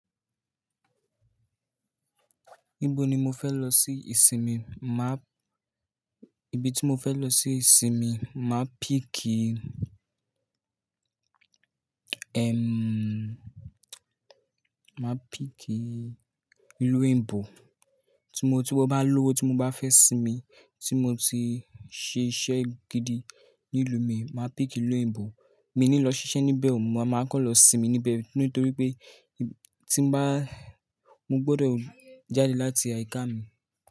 Níbo ni mo fẹ́ lọ sí ìsinmi, máà, ibi tí mo fẹ́ lọ sí ìsinmi, máa pìkì, ẹm, máa pìkì ìlú òyìnbó, tí mo, tí mo bá lówó, tí mo bá fẹ́ sinmi, tí mo ti ṣe iṣẹ́ gidi ní ìlú mi, máa pìkì ìlú òyìnbó. Mi ò ní lọ ṣiṣẹ́ níbẹ̀ oo, mo máa kọ́ lọ sinmi níbẹ̀ torí pé tí bá, mo gbọdọ̀ jáde láti àyíká mi.